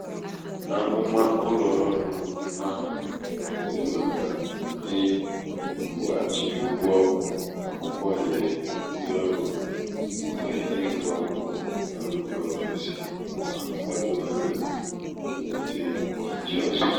amụ̀mà ụlọ̀ọrụ ahụ̀ nwèrè màkà ịkwụ̄ghàchì ụgwọ akwụkwọ̀ nyèrè ndị ọrụ òhèrè ịgụ̄ akwụkwọ na mbà òfèsi mà gbado anyā mwulite ịchị̄ ọ̀chịchị